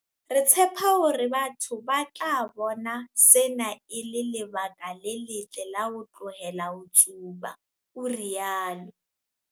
"Re tshepa hore batho ba tla bona sena e le lebaka le letle la ho tlohela ho tsuba," o rialo.